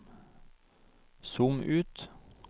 zoom ut